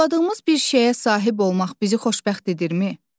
Arzuladığımız bir şeyə sahib olmaq bizi xoşbəxt edirmi?